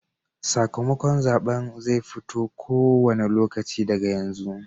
Sakamakon zaɓen zai fito ko wane lokaci daga yanzu.